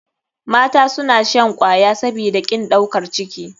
Mata suna shan kwaya sabida kin ɗaukar ciki.